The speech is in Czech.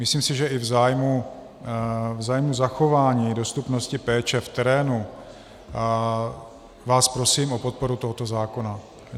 Myslím si, že i v zájmu zachování dostupnosti péče v terénu vás prosím o podporu tohoto zákona.